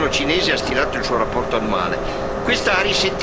con la quale il governo cinese ha stilato il suo rapporto annuale.